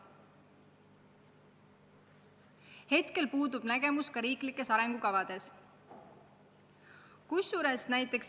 Seni pole selles osas selgust ka riiklikes arengukavades.